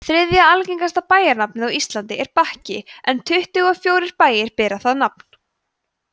þriðja algengasta bæjarnafnið á íslandi er bakki en tuttugu og fjórir bæir bera það nafn